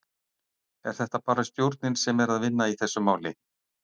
Er þetta bara stjórnin sem er að vinna í þessu máli?